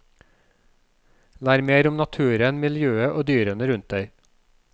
Lær mer om naturen, miljøet og dyrene rundt deg.